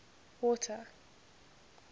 water